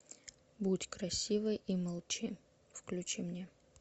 будь красивой и молчи включи мне